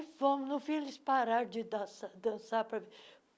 fomos No fim eles pararam de dançar dançar pra.